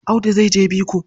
Audu zai je biko.